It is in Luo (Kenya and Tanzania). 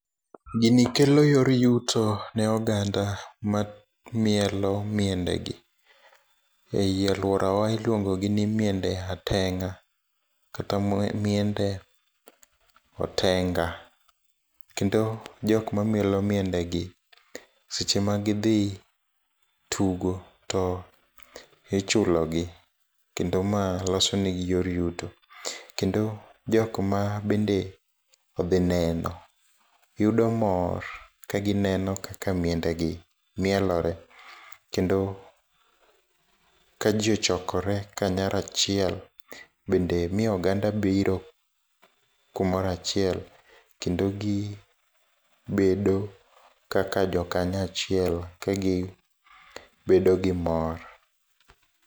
Gini kelo yor yuto ne oganda ma mielo miendegi, ei aluorawa, iluongogi ni miende ateng'a, kata miende otenga, kendo jokmamielo miendegi seche ma gidhii tugo to ichulogi, kendo ma losonegi yor yuto, kendo jokma bende odhii neno, yudo mor ka gineno kaka miendegi mielore, kendo ka jii ochokore kanyarachiel, bende miyo oganda biro kumorachiel kendo gi bedo kaka jo kumoro achiel ka gibedo gi mor.